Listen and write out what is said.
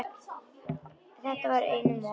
Þetta var nú einum of!